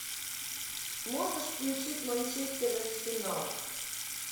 можешь включить манчестер арсенал